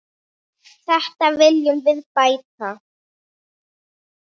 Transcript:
Þetta viljum við bæta.